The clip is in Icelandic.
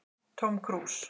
Tóm krús